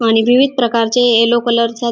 आणि विविध प्रकारचे येल्लो कलर चा--